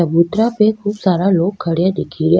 चबूतरा पे खूब सारा लोग खड़ा दिखरया।